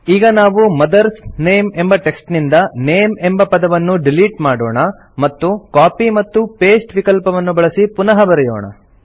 ಈಗ ನಾವು mother's name ಎಂಬ ಟೆಕ್ಸ್ಟ್ ನಿಂದ ನೇಮ್ ಎಂಬ ಪದವನ್ನು ಡಿಲಿಟ್ ಮಾಡೋಣ ಮತ್ತು ಕಾಪಿ ಮತ್ತು ಪಾಸ್ಟೆ ವಿಕಲ್ಪವನ್ನು ಬಳಸಿ ಪುನಃ ಬರೆಯೋಣ